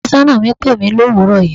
Afésónà mi pèmí l'òwúrò yìí.